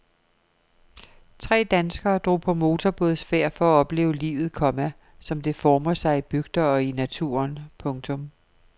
Tre danskere drog på motorbådsfærd for at opleve livet, komma som det former sig i bygder og i naturen. punktum